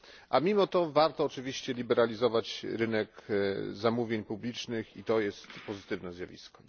Ale mimo to warto oczywiście liberalizować rynek zamówień publicznych i to jest pozytywne zjawisko.